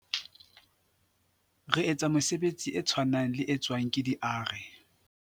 "Re etsa mesebetsi e tshwanang le e tswang ke di-ARE."